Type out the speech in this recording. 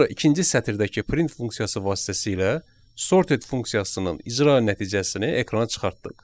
Sonra ikinci sətirdəki print funksiyası vasitəsilə sorted funksiyasının icra nəticəsini ekrana çıxartdıq.